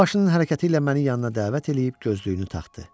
O başının hərəkəti ilə məni yanına dəvət eləyib gözlüyünü taxdı.